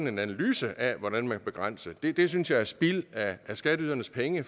en analyse af hvordan man kan begrænse det det synes jeg er spild af skatteydernes penge